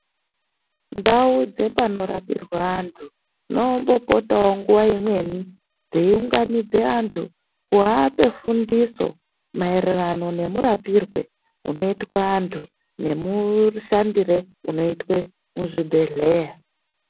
Ndau dzepanorapirwa antu dzinombopotavo nguva imweni dzeiunganidza antu kuape fundiso maererano nemurapirwe unoitwe antu, nemushandire unoitwe muzvibhedhleya.